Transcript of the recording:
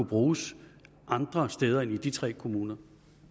bruges andre steder end i de tre kommuner